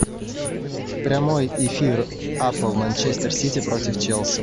прямой эфир апл манчестер сити против челси